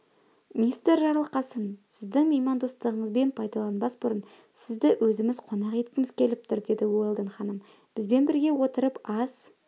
мистер жарылқасын сіздің меймандостығыңызбен пайдаланбас бұрын сізді өзіміз қонақ еткіміз келіп тұр деді уэлдон ханым бізбен бірге отырып ас